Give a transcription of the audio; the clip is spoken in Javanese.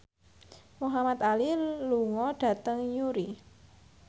Muhamad Ali lunga dhateng Newry